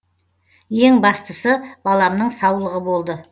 ең бастысы баламның саулығы болды